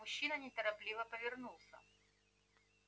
мужчина неторопливо повернулся